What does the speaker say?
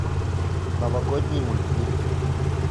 новогодний мультфильм